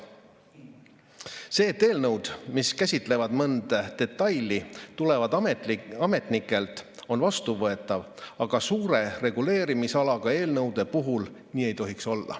See, et eelnõud, mis käsitlevad mõnda detaili, tulevad ametnikelt, on vastuvõetav, aga suure reguleerimisalaga eelnõude puhul nii olla ei tohiks.